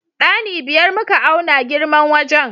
Ɗani biyar muka auna girman wajen.